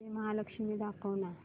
श्री महालक्ष्मी दाखव ना